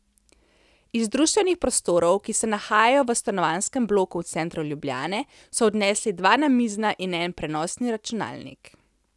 Iz društvenih prostorov, ki se nahajajo v stanovanjskem bloku v centru Ljubljane, so odnesli dva namizna in en prenosni računalnik.